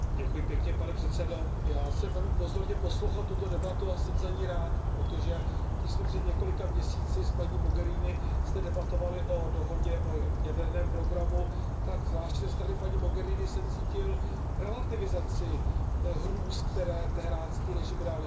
Pane předsedající, já jsem velmi pozorně poslouchal tuto debatu a jsem za ni rád, protože když jsme před několika měsíci s paní Mogheriniovou zde debatovali o dohodě o jaderném programu, tak zvláště ze strany paní Mogheriniové jsem cítil relativizaci hrůz, které teheránský režim realizuje.